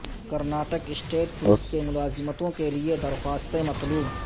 Karnataka state police کی ملازمتوں کے لیے درخواستیں مطلوب